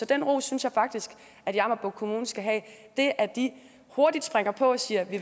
den ros synes jeg faktisk at jammerbugt kommune skal have det at de hurtigt springer på og siger at de